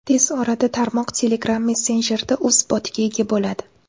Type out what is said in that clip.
Tez orada tarmoq Telegram messenjerida o‘z botiga ega boladi.